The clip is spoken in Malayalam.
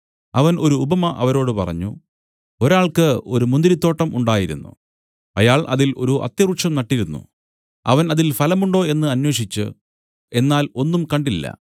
അവൻ ഒരു ഉപമ അവരോട് പറഞ്ഞു ഒരാൾക്ക് ഒരു മുന്തിരിത്തോട്ടം ഉണ്ടായിരുന്നു അയാൾ അതിൽ ഒരു അത്തിവൃക്ഷം നട്ടിരുന്നു അവൻ അതിൽ ഫലമുണ്ടോ എന്ന് അന്വേഷിച്ചു എന്നാൽ ഒന്നും കണ്ടില്ല